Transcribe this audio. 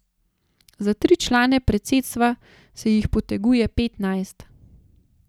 Za tri člane predsedstva se jih poteguje petnajst.